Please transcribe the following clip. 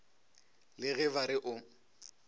le ge ba re o